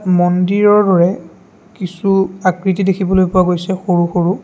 মন্দিৰৰলৈ কিছু আকৃতি দেখিবলৈ পোৱা গৈছে সৰু সৰু।